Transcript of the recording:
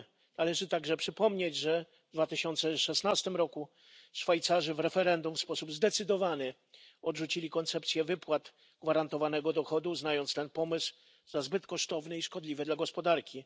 Należy także przypomnieć, że 2016 roku Szwajcarzy w referendum w sposób zdecydowany odrzucili koncepcję wypłat gwarantowanego dochodu, uznając ten pomysł za zbyt kosztowny i szkodliwy dla gospodarki.